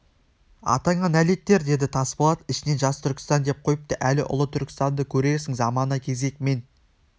атаңа нәлеттер деді тасболат ішінен жас түркістан деп қойыпты әлі ұлы түркістанды көрерсің замана кезек мен